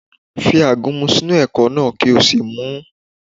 Fi àgúnmu sínú ẹ̀kọ náà kí o sì mu ún